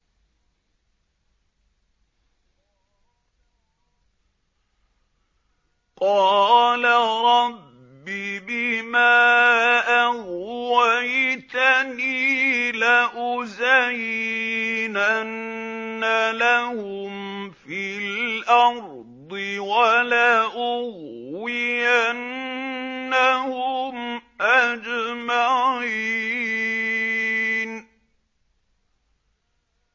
قَالَ رَبِّ بِمَا أَغْوَيْتَنِي لَأُزَيِّنَنَّ لَهُمْ فِي الْأَرْضِ وَلَأُغْوِيَنَّهُمْ أَجْمَعِينَ